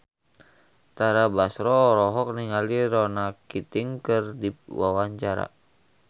Tara Basro olohok ningali Ronan Keating keur diwawancara